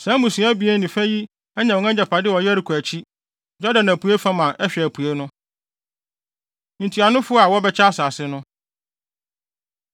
Saa mmusua abien ne fa yi anya wɔn agyapade wɔ Yeriko akyi, Yordan apuei fam a ɛhwɛ apuei no.” Ntuanofo A Wɔbɛkyɛ Asase No